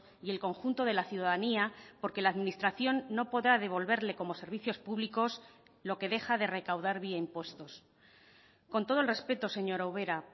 y el conjunto de la ciudadanía porque la administración no podrá devolverle como servicios públicos lo que deja de recaudar vía impuestos con todo el respeto señora ubera